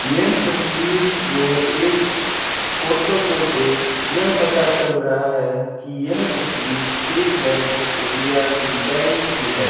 यह तस्वीर में एक फोटो को देख यह पता चल रहा है की यह तस्वीर स्टेट बैंक ऑफ़ इंडिया की बैंक की है।